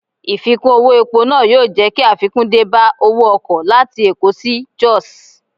Ìfikún owó epo náà yóò jẹ́ kí àfikún dé bá owó ọkọ̀ láti Èkó sí Jos.